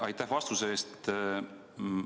Aitäh vastuse eest!